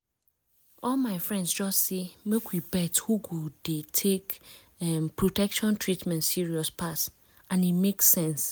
all my friends just say make we bet who go dey take em protection treatment serious pass and e make sense